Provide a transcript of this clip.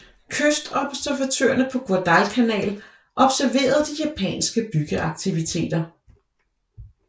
Kystobservatørerne på Guadalcanal observerede de japanske byggeaktiviteter